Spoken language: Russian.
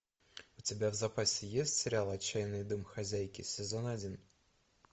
у тебя в запасе есть сериал отчаянные домохозяйки сезон один